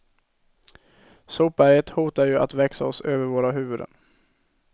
Sopberget hotar ju att växa oss över våra huvuden.